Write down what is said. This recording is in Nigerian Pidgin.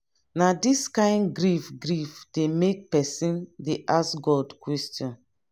na dis kain grief grief dey make pesin dey ask god question.